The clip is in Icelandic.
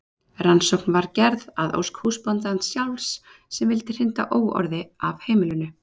Rannsóknin var gerð að ósk húsbóndans sjálfs sem vildi hrinda óorði af heimilinu.